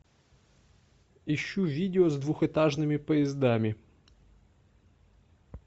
ищу видео с двухэтажными поездами